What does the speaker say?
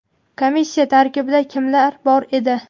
komissiya tarkibida kimlar bor edi?.